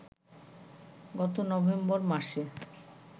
গত নভেম্বর মাসে